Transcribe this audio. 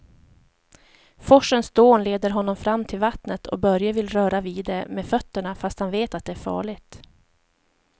Forsens dån leder honom fram till vattnet och Börje vill röra vid det med fötterna, fast han vet att det är farligt.